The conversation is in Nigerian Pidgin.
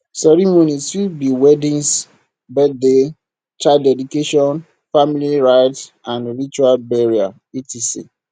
ceremonies fit be weddings birthdays child dedication family rites and ritual burial etc